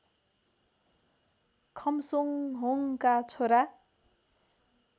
खम्सोङहोङका छोरा